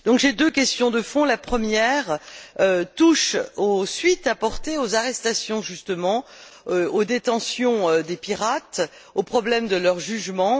J'ai deux questions de fond la première touche aux suites apportées aux arrestations, justement, à la détention des pirates, au problème de leur jugement.